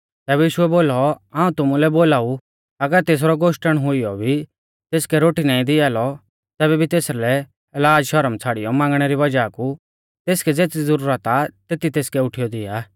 तैबै यीशुऐ बोलौ हाऊं तुमुलै बोलाऊ अगर तेसरौ गोश्टण हुईयौ भी तेसकै रोटी नाईं दिआ लौ तैबै भी तेसरै लाज़ शरम छ़ाड़ियौ मांगणै री वज़ाह कु तेसकै ज़ेती ज़ुरत आ तेती तेसकै उठीयौ दिआ आ